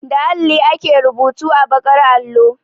Da alli ake rubutu a baƙar allo.